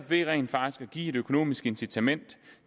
ved rent faktisk at give et økonomisk incitament